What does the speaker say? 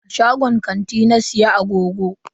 A shagon kanti na siya agogon.